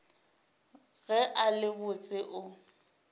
ge a le botse o